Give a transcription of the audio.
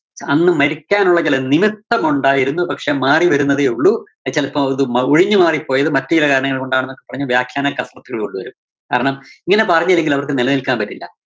അന്ന് മരിക്കാനുള്ള ചില നിമിത്തമുണ്ടായിരുന്നു, പക്ഷേ മാറിവരുന്നതേ ഉള്ളൂ. അത് ചെലപ്പോ അത് മറിഞ്ഞ് മാറി പോയത് മറ്റു ചെല കാരണങ്ങള്‍ കൊണ്ടാണെന്ന് ഒക്കെ പറഞ്ഞ് വ്യാഖ്യാനം കൊണ്ടുവരും. കാരണം ഇങ്ങനെ പറഞ്ഞില്ലെങ്കില്‍ അവര്‍ക്ക് നിലനില്‍ക്കാന്‍ പറ്റില്ല.